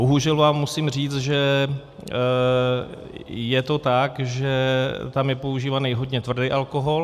Bohužel vám musím říct, že je to tak, že tam je požívaný hodně tvrdý alkohol.